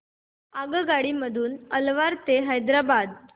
आगगाडी मधून अलवार ते हैदराबाद